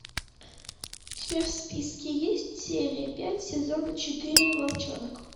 у тебя в списке есть серия пять сезона четыре волчонок